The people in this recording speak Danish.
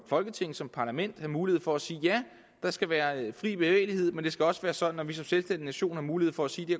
folketing som parlament have mulighed for at sige at ja der skal være fri bevægelighed men det skal også være sådan at vi som selvstændig nation har mulighed for at sige det